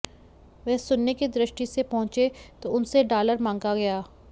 वे सुनने की दृष्टि से पहुंचे तो उनसे डालर मांगा गया